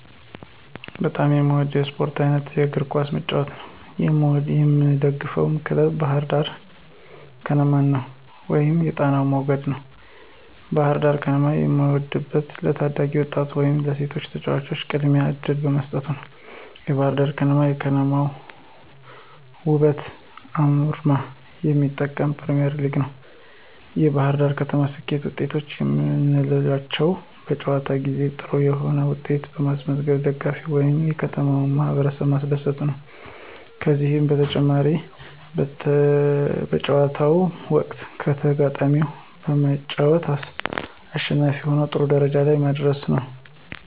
በጣም የምወደው የስፖርት አይነት የእግር ኳስ መጫወት ነው። የምደግፈው ክለብ ባህርዳር ከነማን ወይም የጣናው መገድ ነው። ባህርዳር ከነማን የምወደው ለታዳጊ ወጣቶች ወይም ለሴቶች ተጫዋቾች ቅድሚያ እድል በመስጠት ነዉ። የባህርዳር ከነማ የከተማዋን ወበትና አርማ የሚመጥን ፕሪሚዬርሊግ ነው። የባህርዳር ከነማ ስኬታማ ወጤቶች የምንላቸው በጨዋታ ጊዜ ጥሩ የሆነ ዉጤት በማስመዝገብ ደጋፊዎችን ወይም የከተማውን ማህበረሰብ ማስደሰቱ ነዉ። ከዚህም በተጨማሪ በጨዋታው ወቅት ከተጋጣሚው በመጫወት አሸናፊ ሁኖ ጥሩ ደረጃ ላይ መድረሱ ነው።